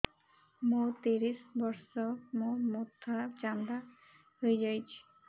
ମୋ ତିରିଶ ବର୍ଷ ମୋ ମୋଥା ଚାନ୍ଦା ହଇଯାଇଛି